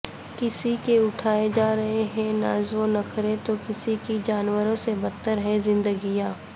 کسی کے اٹھائے جارہے ہیں ناز ونخرے تو کسی کی جانوروں سے بدتر ہیں زندگیاں